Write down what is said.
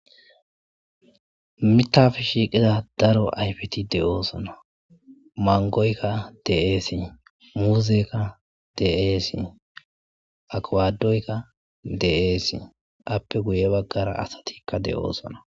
mitappe shiiqida daro ayfiti de7oosona mangoykka de'esi muuzeka de'esi aqwadoykka de7eesi appe guye baggara asatikka de7oosona